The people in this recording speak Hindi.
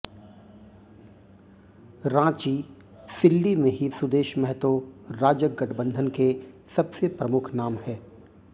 रांचीः सिल्ली में ही सुदेश महतो राजग गठबंधन के सबसे प्रमुख नाम है